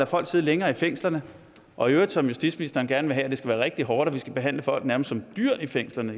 folk sidde længere i fængslerne og i øvrigt som justitsministeren gerne vil have det skal være rigtig hårdt og vi skal behandle folk nærmest som dyr i fængslerne